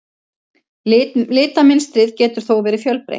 Litamynstrið getur þó verið fjölbreytt.